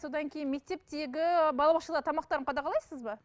содан кейін мектептегі балабақшада тамақтарын қадағалайсыз ба